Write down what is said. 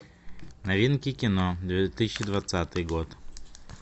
новинки кино две тысячи двадцатый год